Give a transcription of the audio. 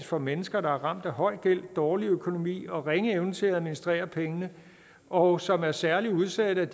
for at mennesker der er ramt af høj gæld dårlig økonomi og ringe evne til at administrere penge og som er særlig udsatte